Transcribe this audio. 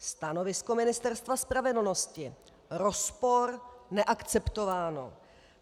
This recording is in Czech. Stanovisko Ministerstva spravedlnosti: rozpor, neakceptováno.